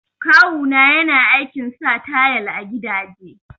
Kawu na yana aikin sa tayal a gidaje